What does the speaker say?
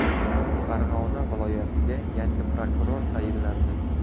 Farg‘ona viloyatiga yangi prokuror tayinlandi.